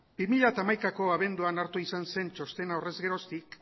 bi mila hamaikako abenduan hartu izan txostena horrez geroztik